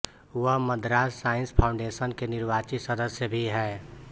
वह Madras science foundation के निर्वाचित सदस्य भी हैं